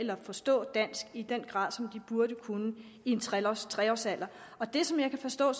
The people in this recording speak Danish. eller forstå dansk i den grad som de burde kunne i tre års tre års alderen og det som jeg kan forstå